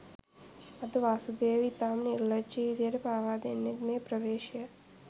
අද වාසුදේව ඉතාම නිර්ලජ්ජි විදියට පාවාදෙන්නෙත් මේ ප්‍රවේශය